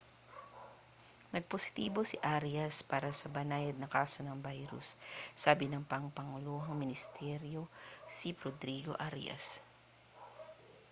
nagpositibo si arias para sa banayad na kaso ng virus sabi ng pampanguluhang ministrong si rodrigo arias